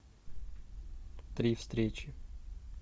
три встречи